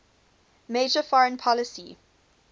major foreign policy